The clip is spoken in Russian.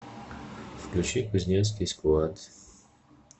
включи кузнецкий сквад